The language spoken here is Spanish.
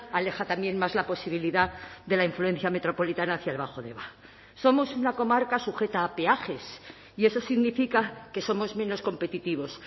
aleja también más la posibilidad de la influencia metropolitana hacia el bajo deba somos una comarca sujeta a peajes y eso significa que somos menos competitivos